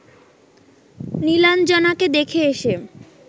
নীলাঞ্জনাকে দেখে এসে